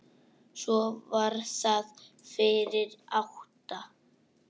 Svo var það fyrir átta.